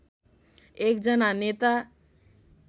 एक जना नेता